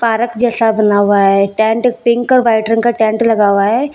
Park जैसा बना हुआ हैं टेंट पिंक और व्हाइट रंग का टेंट लगा हुआ हैं।